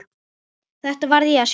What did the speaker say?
Þetta verð ég að sjá.